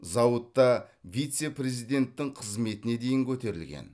зауытта вице президенттің қызметіне дейін көтерілген